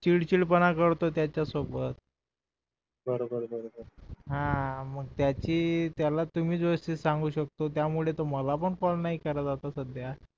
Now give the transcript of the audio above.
चिडचिड पण करतो त्याच्या सोबत बर बर बर बर हा मग त्याची तुम्हीच व्यवस्थित सांगू शकता त्यामुळे तुम्हाला पण फोन नाही करत सध्या